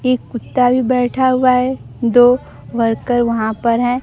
एक कुत्ता भी बैठा हुआ है दो वर्कर वहां पर है।